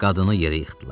Qadını yerə yıxdılar.